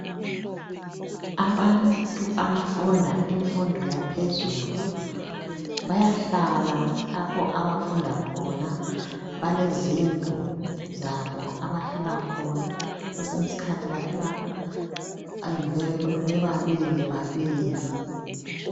Abantu abafunda imfundo yaphezelu bayahlala lapho abafunda khona. Balezindlu zabo abahlala khona, kwesinye isikhathi bahlala kundlu leyo bebabili babili.